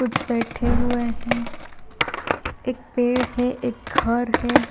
कुछ बैठे हुए हैं एक पेड़ है एक घर है।